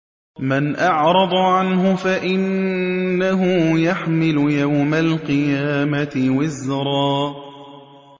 مَّنْ أَعْرَضَ عَنْهُ فَإِنَّهُ يَحْمِلُ يَوْمَ الْقِيَامَةِ وِزْرًا